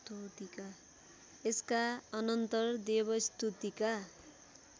यसका अनन्तर देवस्तुतिका